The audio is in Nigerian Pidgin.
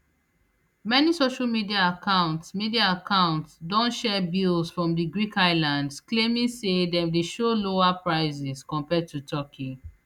many social media accounts media accounts don share bills from di greek islands claiming say dem dey show lower prices compared to turkey